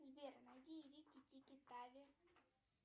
сбер найди рики тики тави